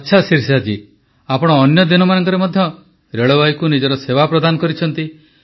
ଆଚ୍ଛା ଶିରିଷା ଜୀ ଆପଣ ଅନ୍ୟ ଦିନମାନଙ୍କରେ ମଧ୍ୟ ରେଳବାଇକୁ ନିଜର ସେବା ପ୍ରଦାନ କରିଛନ୍ତି